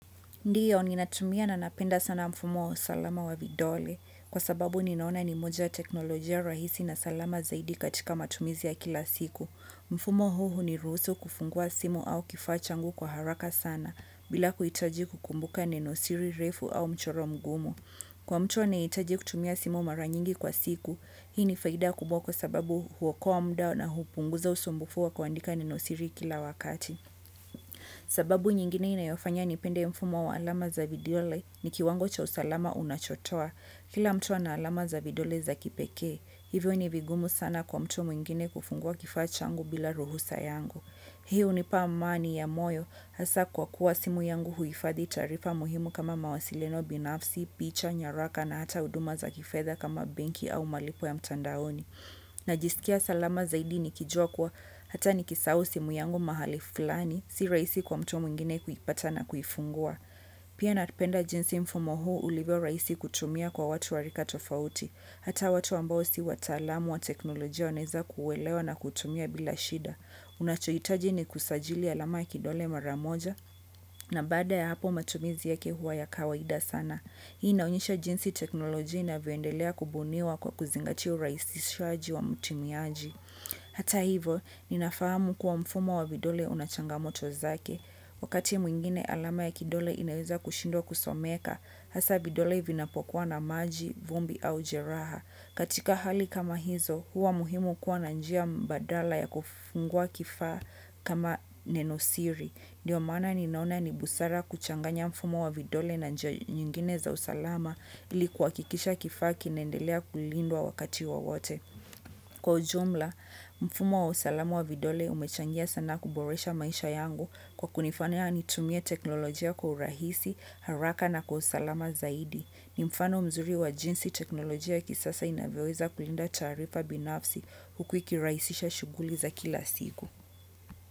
Ndio, ni natumia na napenda sana mfumo wa usalama wa vidole kwa sababu ni naona ni moja teknolojia rahisi na salama zaidi katika matumizi ya kila siku. Mfumo huu hiniruhusu kufungua simu au kifaa changu kwa haraka sana bila kuhitaji kukumbuka nenosiri, refu au mchoro mgumu. Kwa mtu anayehitaji kutumia simu mara nyingi kwa siku, hii ni faida kubwa kwa sababu huokoa muda na hupunguza usumbufu wa kuandika neno siri kila wakati. Sababu nyingine inayofanya nipende mfumo wa alama za vidole ni kiwango cha usalama unachotoa. Kila mtu ana alama za vidole za kipekee, hivyo ni vigumu sana kwa mtu mwingine kufungua kifaanchangu bila ruhusa yangu. Hii hunipa amani ya moyo, hasa kwa kuwa simu yangu huhifadhi taarifa muhimu kama mawasiliano binafsi, picha, nyaraka na hata huduma za kifedha kama benki au malipo ya mtandaoni. Najisikia salama zaidi nikijua kuwa hata nikisahau simu yangu mahali fulani, si rahisi kwa mtu mwingine kuipata na kuifungua. Pia napenda jinsi mfumo huu ulivyo rahisi kutumia kwa watu wa rika tofauti, hata watu ambao si wataalamu wa teknolojia wanaweza kuuelewa na kuutumia bila shida. Unachohitaji ni kusajili alama kidole maramoja, na bada ya hapo matumizi yake huwa ya kawaida sana. Hii inaonyesha jinsi teknolojia inavyoendelea kubuniwa kwa kuzingatia urahisishaji wa mtumiaji. Hata hivo, ninafahamu kuwa mfumo wa vidole una changamoto zake. Wakati mwingine mfumo wa kidole katika hali kama hizo, huwa muhimu kuwa na njia mbadala, ya kufungua kifaa kama nenosiri. Ndiyo maana ninaona ni busara kuchanganya mfumo wa vidole na njia nyingine za usalama ili kuhakikisha kifaa kinaendelea kulindwa wakati wowote. Kwa ujumla, mfumo wa usalama wa vidole umechangia sana kuboresha maisha yangu kwa kunifanya nitumie teknolojia kwa urahisi, haraka na kwa usalama zaidi. Ni mfano mzuri wa jinsi teknolojia kisasa inavyoweza kulinda tarifa binafsi huku ikirahisisha shughuli za kila siku.